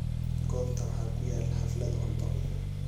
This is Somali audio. goobta waxaa ku yaal xaflad cunto